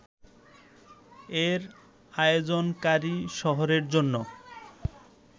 এর আয়োজনকারী শহরের জন্য